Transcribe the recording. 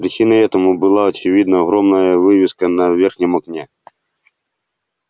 причиной этому была очевидно огромная вывеска на верхнем окне